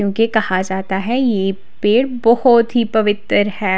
इनके कहा जाता है यह पेड़ बहोत ही पवित्र है।